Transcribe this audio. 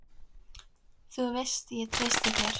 Þú veist ég treysti á þig.